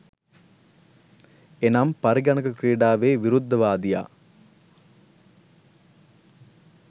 එනම් පරිගණක ක්‍රිඩාවෙ විරුද්ධවාදියා